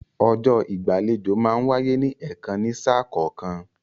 Ọjọ́ ìgbàlejò máa ń wáyé ní ẹ̀kan ní sà kọ̀ọ̀kan